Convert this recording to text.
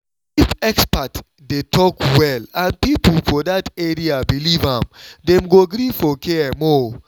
if expert dey talk well and people for that area believe am dem go gree for care more.